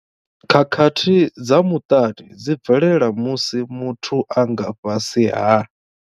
Khakhathi dza muṱani dzi bvelela musi muthu a nga fhasi ha.